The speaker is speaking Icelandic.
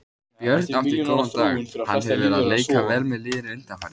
Björn átti góðan dag, hann hefur verið að leika vel með liðinu undanfarið.